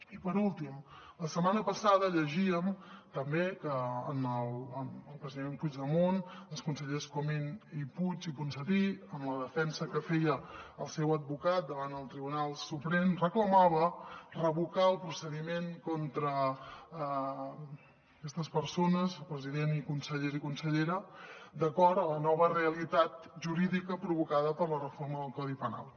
i per últim la setmana passada llegíem també que el president puigdemont els consellers comín i puig i ponsatí en la defensa que feia el seu advocat davant el tribunal suprem reclamava revocar el procediment contra aquestes persones president i consellers i consellera d’acord amb la nova realitat jurídica provocada per la reforma del codi penal